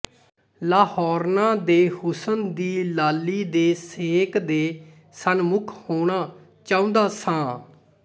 ਲਾਹੌਰਨਾਂ ਦੇ ਹੁਸਨ ਦੀ ਲਾਲੀ ਦੇ ਸੇਕ ਦੇ ਸਨਮੁੱਖ ਹੋਣਾ ਚਾਹੁੰਦਾ ਸਾਂ